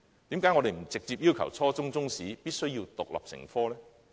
為何不直接要求初中中史必須獨立成科呢？